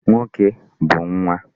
Nwoke bụ nwa.